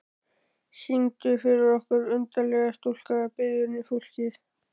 Syngdu fyrir okkur undarlega stúlka, biður fólkið.